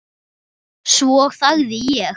Svo þagði ég.